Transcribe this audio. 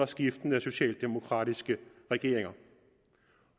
skiftende socialdemokratiske regeringer